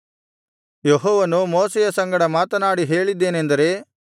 ಯೆಹೋವನು ಮೋಶೆಯ ಸಂಗಡ ಮಾತನಾಡಿ ಹೇಳಿದ್ದೇನೆಂದರೆ